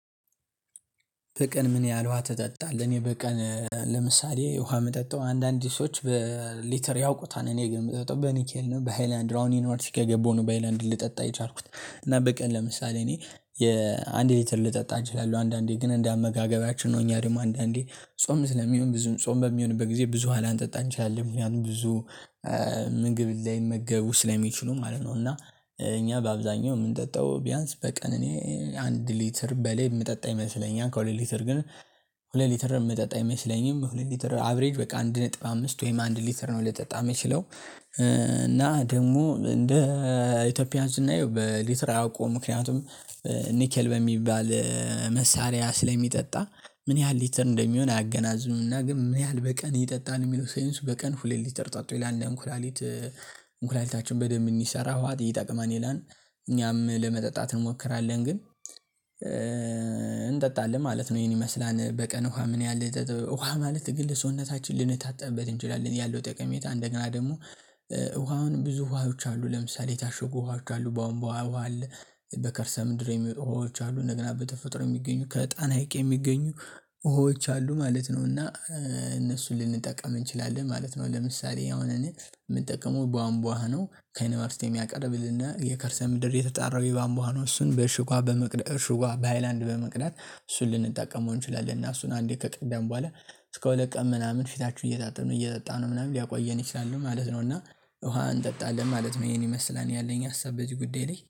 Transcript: በቀን ምን ያህል ውሃ ተጠጣለህ? እኔ በቀን ለምሳሌ ውሃ የምጠጣው አንዳንድ ሰዎች በሊተር ያውቁታል እኔ ግን የምጠጣው በኒኬል ነው በሃይላንድ ነው አሁን ዩኒቨርስቲ ከገባው ነው በሃይላንድ ልጠጣ የቻልኩት። እና በቀን ለምሳሌ እኔ የአንድ ሊትር ልጠጣ እችላለሁ አንዳንዴ ግን እንደ አመጋገባችን ነው። እኛ ደግሞ አንዳንዴ ጾም ስለሚሆን ብዙም ጾም በሚሆንበት ጊዜ ብዙ ውሃ ላንጠጣ እንችላለን ምክንያቱም ብዙ ምግብ ላይመገቡ ስለሚችሉ ማለት ነው። እና እኛ በአብዛኛው የምንጠጣው ቢያንስ በቀን እኔ አንድ ሊትር በላይ የምጠጣ ይመስለኛል። ከሁለት ሊትር ግን ሁለት ሊትር የምጠጣ አይመስለኝም። ሁለት ሊተር አቭሬጅ በቃ አንድ ነጥብ አምስት ወይም አንድ ሊተር ነው። ልጠጣ የሚችለው እና ደግሞ እንደ ኢትዮጵያ ስናየው በሊትር አያውቀዉም ምክንያቱም ኒኬል በሚባል መሳሪያ ስለሚጠጣ ምን ያህል ሊትር እንደሚሆን አያገናዘብም። ግን ምን ያህል በቀን ይጠጣል የሚለው ሳይንሱ በቀን ሁለት ሊተር ጠጡ ይላል። እንኩላሊት እንኩላሊታችን በደንብ እንዲሰራ ውሃ ይጠቅማል ይላል። እኛም ለመጠጣት እንሞክራለን ግን እንጠጣለን ማለት ነው ይሄን ይመስላል። በቀን ውሃ ምን ያህል ውሃ ማለት ግን ለሰውነታችን ልንታጠብበት እንችላለን ያለው ጠቀሜታ። እንደገና ደግሞ ውሃውን ብዙ ውሃዎች አሉ ለምሳሌ የታሽጉ ውሃዎች አሉ ቧንቧ ውሃ አለ። በከርሰ ምድር የሚወጡ ውሃዎች አሉ እንደገና በተፈጥሮ የሚገኙ ከጣና ሀይቅ የሚገኙ ውሃዎች አሉ ማለት ነው። እና እነሱ ልንጠቀም እንችላለን ማለት ነው። ለምሳሌ አሁን እኔ ምጠቀመው ቧንቧ ነው። ከመሬት ውስጥ የሚያቀርብልን የከርሰ ምድር የተጣራው የቧንቧ ውሃ እሱን በእሸግ ውሃ በመቅዳት እሱን በሃይለአንድ አንዴ ከቀዳን በኋላ እስከ ሁለት ቀን ምናምን ፊታችን ይታጠብን እየጠጣን ምናምን ሊያቆየን ይችላል። ማለት ነውና ውሃ እንጠጣለን ማለት ነው። ይህን ይመስላል ያለኝ ሀሳብ በዚህ ጉዳይ ላይ